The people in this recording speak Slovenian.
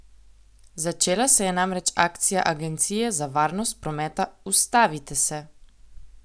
Začela se je namreč akcija agencije za varnost prometa Ustavite se!